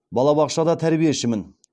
балабақшада тәрбиешімін